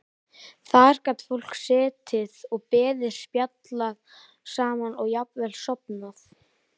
Þar gat fólk setið og beðið, spjallað saman og jafnvel sofnað.